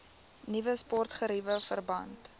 nuwe sportgeriewe verband